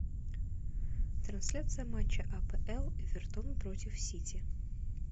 трансляция матча апл эвертон против сити